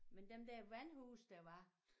Men dem der vandhuse der var